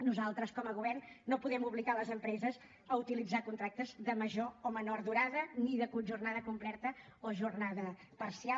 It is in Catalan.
nosaltres com a govern no podem obligar les empreses a utilitzar de major o menor durada ni de jornada complerta o jornada parcial